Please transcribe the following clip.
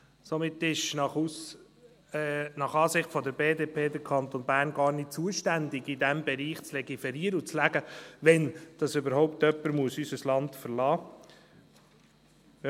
Somit ist nach Ansicht der BDP der Kanton Bern gar nicht zuständig, in diesem Bereich zu legiferieren und zu sagen, wann überhaupt jemand unser Land verlassen muss.